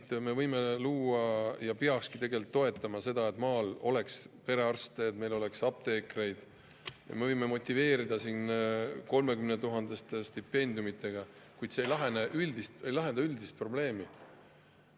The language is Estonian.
Tõesti, me võime ja peakski toetama seda, et maal oleks perearste, oleks apteekreid, ja me võime motiveerida siin 30 000 euro suuruste stipendiumidega, kuid see ei lahenda üldist probleemi.